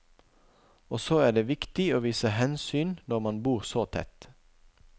Og så er det viktig å vise hensyn når man bor så tett.